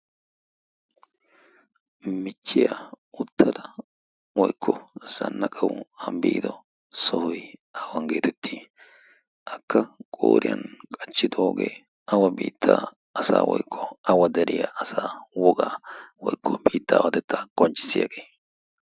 michchiyaa uttada woykko zannaqawu biido sohoy aawanggeetettii akka qooriyan qachchixoogee awa biittaa asa woykko awa dariya asaa wogaa woikko biittaa awatettaa qonchcissiyaagee?